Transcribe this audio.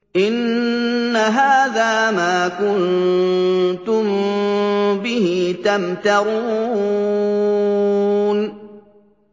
إِنَّ هَٰذَا مَا كُنتُم بِهِ تَمْتَرُونَ